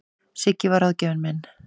Siggi var ráðgjafinn minn.